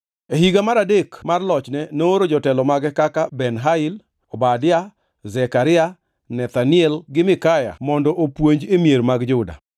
E higa mar adek mar lochne nooro jotelo mage kaka Ben-Hail, Obadia, Zekaria, Nethanel gi Mikaya mondo opuonj e mier mag Juda.